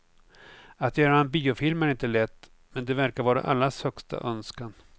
Att göra en biofilm är inte lätt, men det verkar vara allas högsta önskan.